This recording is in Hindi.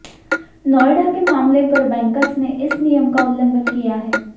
नोएडा के मामले पर बैंकर्स ने इस नियम का उल्लंघन किया है